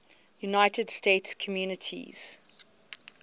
united states communities